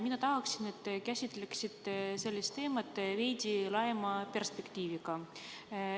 Mina tahaksin, et te käsitleksite sellist teemat veidi laiema perspektiiviga.